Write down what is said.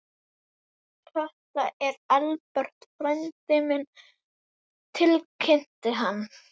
Þetta er Engilbert frændi minn tilkynnti hann.